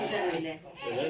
Siz də bizə elə.